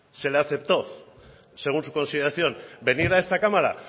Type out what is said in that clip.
se la aceptó según su consideración venir a esta cámara